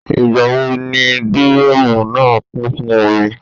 Ìgbà wo ni dírọ́mùù náà kún fún omi?